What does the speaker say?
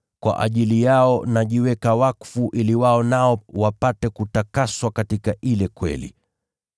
Kwa ajili yao najiweka wakfu ili wao nao wapate kutakaswa katika ile kweli.